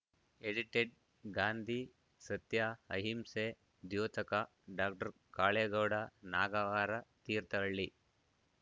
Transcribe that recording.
edited Gandhi ಸತ್ಯಅಹಿಂಸೆ ದ್ಯೋತಕ doctor Kalegowda Nagavara Thirthahalli